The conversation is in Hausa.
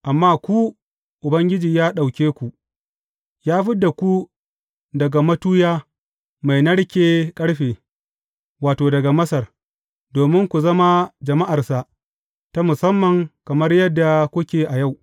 Amma ku, Ubangiji ya ɗauke ku, ya fid da ku daga matuya mai narken ƙarfe, wato, daga Masar, domin ku zama jama’arsa ta musamman kamar yadda kuke a yau.